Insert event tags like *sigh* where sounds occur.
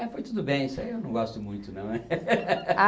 É, foi tudo bem, isso aí eu não gosto muito não, né? *laughs*